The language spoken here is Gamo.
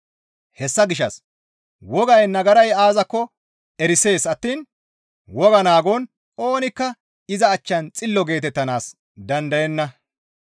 Hessa gishshas wogay nagaray aazakko erisees attiin wogaa naagon oonikka iza achchan xillo geetettanaas dandayenna.